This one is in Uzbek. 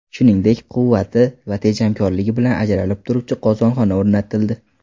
Shuningdek, quvvati va tejamkorligi bilan ajralib turuvchi qozonxona o‘rnatildi.